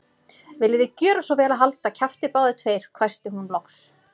Viljiði gjöra svo vel að halda kjafti, báðir tveir hvæsti hún loks.